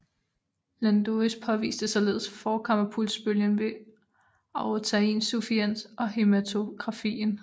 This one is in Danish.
Landois påviste således forkammerpulsbølgen ved aortainsufficiens og hæmatografien